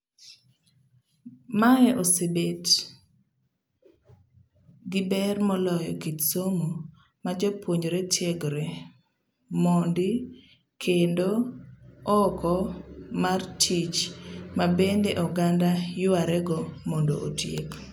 Mae ose bet giber moloyo kit somo ma jopuonjre tiegre mondi kendo oko mar tich mabende oganda yuarego mondo otiek